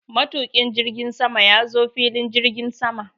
Matuƙin jirgin sama ya zo filin jirgin sama.